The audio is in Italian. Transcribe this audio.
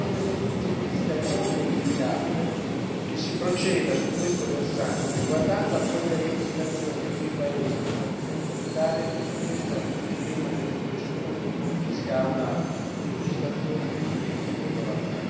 Sotto questo punto di vista è molto auspicabile che si proceda su questo versante, guardando a quelle legislazioni e a quei paesi, come ad esempio l'Italia, che su questo tema delle procedure di confisca hanno una legislazione e un'esperienza molto avanzata.